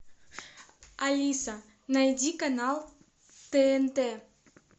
алиса найди канал тнт